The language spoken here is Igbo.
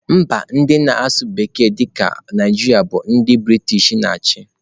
Mba ndị na-asụ bekee dị ka Naijiria bụ ndị Briten na-achị.